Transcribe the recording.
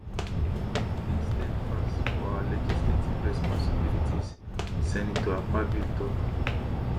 we remain steadfast for our legislative responsibilities senator akpabio tok